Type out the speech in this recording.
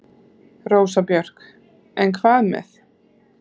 Rósa Björk: En hvað með.